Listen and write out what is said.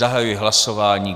Zahajuji hlasování.